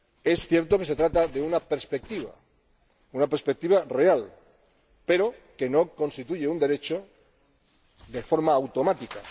Es cierto que se trata de una perspectiva, una perspectiva real, pero no constituye un derecho de forma automática.